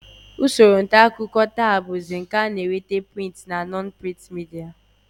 Usoro ntaakụkọ taa bụzi nke a na-eweta prịnt na non-prịnt midia